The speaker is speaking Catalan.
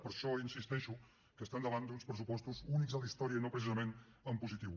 per això insisteixo que estem davant d’uns pressupostos únics a la història i no precisament en positiu